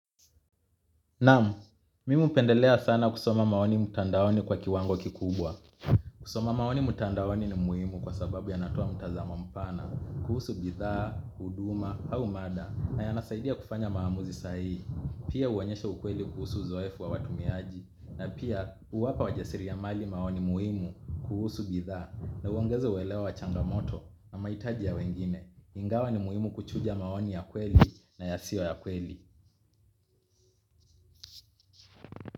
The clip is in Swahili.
Naam, mimi hupendelea sana kusoma maoni mutandaoni kwa kiwango kikubwa. Kusoma maoni mutandaoni ni muhimu kwa sababu ya natoa mtazamo mpana, kuhusu bidhaa, huduma, au mada, na yanasaidia kufanya maamuzi sahihi. Pia uonyesha ukweli kuhusu uzoefu wa watumiaji, na pia huwapa wajasiria mali maoni muhimu kuhusu bidhaa, na uogeza uelewa wa changamoto na maitaji ya wengine. Ingawa ni muhimu kuchuja maoni ya kweli na yasio ya kweli.